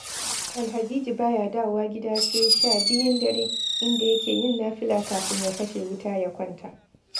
Alhajiji ba ya dawowa gida sai sha biyun dare, inda yake yin nafila kafin ya kashe wuta, ya kwanta